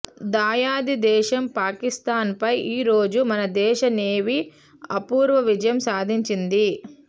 దాయాది దేశం పాకిస్తాన్పై ఈరోజు మన దేశ నేవీ అపూర్వ విజయం సాధించింది